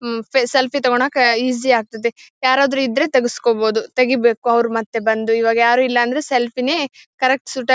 ಹಮ್ ಫೆ ಸೆಲ್ಫಿ ತಗೋಳಕ್ಕೆ ಈಸಿ ಆಗ್ತದೆ ಯಾರಾದ್ರೂ ಇದ್ರೆ ತೆಗಿಸ್ಕೊಬೋದು ತೆಗೀಬೇಕು ಅವರು ಮತ್ತೆ ಬಂದು ಇವಾಗ ಯಾರು ಇಲ್ಲಾಂದ್ರೆ ಸೆಲ್ಫಿ ನೇ ಕರೆಕ್ಟ್ ಸೂಟ್ --